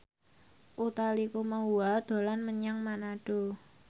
Utha Likumahua dolan menyang Manado